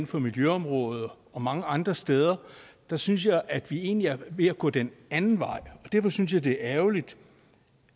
for miljøområdet og mange andre steder der synes jeg at vi egentlig er ved at gå den anden vej derfor synes jeg det er ærgerligt